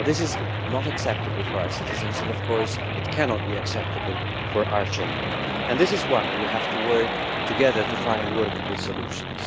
That is not acceptable for our citizens and, of course, cannot be acceptable to our Chamber, which is why we have to work together to find workable solutions.